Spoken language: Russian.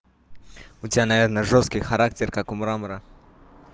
у тебя наверное жёсткий характер как у мрамора